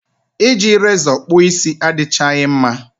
I ji rezọ kpụọ isi adịchaghị mma